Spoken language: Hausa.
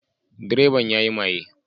Direban ya yi maye